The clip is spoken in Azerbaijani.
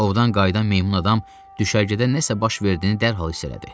Ovdan qayıdan meymun adam düşərgədə nəsə baş verdiyini dərhal hiss elədi.